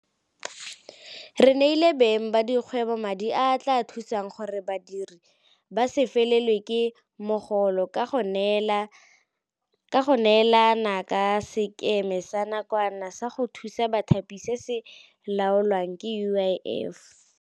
Re neile beng ba dikgwebo madi a a tla thusang gore badiri ba se felelwe ke mogolo ka go neelana ka Sekema sa Nakwana sa go Thusa Bathapi se se laolwang ke UIF.